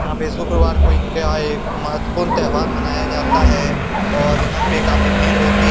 यहाँ पे शुक्रवार को इनके यहाँ एक महत्वपूर्ण त्योहार मनाया जाता है और यहाँ पर काफी भीड़ होती है।